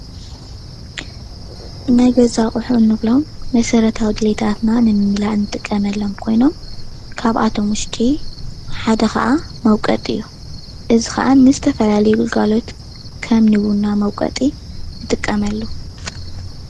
ናይ ገዛ ኣቁሑ እንብሎም መሰረታዊ ድሌታትና ንምምላእ እንጥቀመሎም ኮይኑ ካብኣቶም ውሽጢ ሓደ ክዓ መውቀጢ እዩ፡፡ እዚ ከዓ ንዝተፈላለዩ ግልጋሎት ከም ንቡና መውቀጢ ንጥቀመሉ፡፡